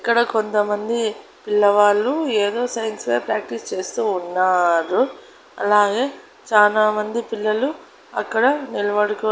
ఇక్కడ కొంతమంది పిల్లవాళ్ళు ఏదో సైన్స్ వేర్ ప్రాక్టీస్ చేస్తూ ఉన్నారు అలాగే చానామంది పిల్లలు అక్కడ నిలబడుకో--